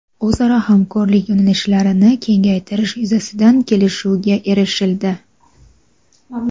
o‘zaro hamkorlik yo‘nalishlarini kengaytirish yuzasidan kelishuvga erishildi.